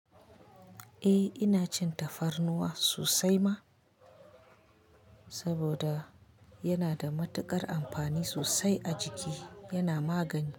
Eh ina cin tafarnuwa sosai ma, saboda yana da matuƙar amfani sosai a jiki, yana magani.